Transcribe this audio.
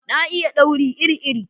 Na iya dauri iri iri